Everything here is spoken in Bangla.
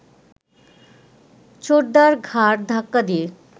ছোটদার ঘাড় ধাক্কা দিয়ে